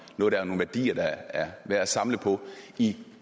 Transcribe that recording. nogle værdier der er værd at samle på i